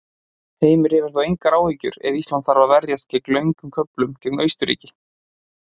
Heimir hefur þó engar áhyggjur ef Ísland þarf að verjast á löngum köflum gegn Austurríki.